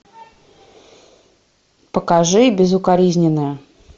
покажи безукоризненное